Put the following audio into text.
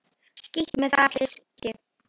Skítt með það hyski.